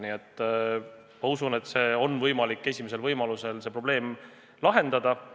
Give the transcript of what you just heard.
Nii et ma usun, et on võimalik esimesel võimalusel see probleem lahendada.